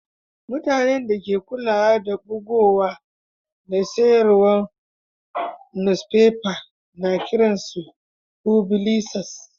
Mutanen da ke kulawa da bugowa da sayarwan nusfefa ana kiran su fublisas.